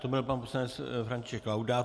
To byl pan poslanec František Laudát.